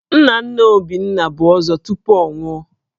Nna nna Obinna bụ Ọzọ tupu ọ nwụọ